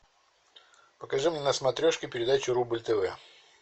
покажи мне на смотрешке передачу рубль тв